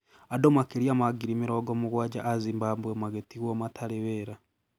Andũ makĩria ma ngiri mĩrongo mũgwanja a Zimbabwe magĩtigwo matarĩ wĩra